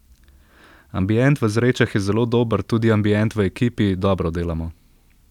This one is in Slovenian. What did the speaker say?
Ambient v Zrečah je zelo dober, tudi ambient v ekipi, dobro delamo.